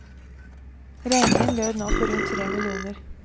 Regningen lød nå på rundt tre millioner.